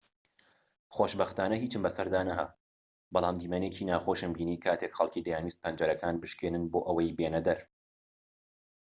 خۆشبەختانە هیچم بەسەردا نەهات بەڵام دیمەنێکی ناخۆشم بینی کاتێک خەڵکی دەیانویست پەنجەرەکان بشکێنن بۆ ئەوەی بێنەدەر